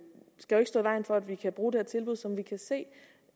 stå i vejen for at vi kan bruge det her tilbud som vi kan se